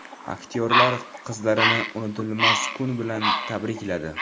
Aktyorlar qizlarini unutilmas kun bilan tabrikladi.